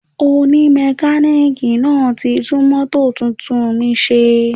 Oni mekaniki náà ti tún mótò tuntun mi ṣe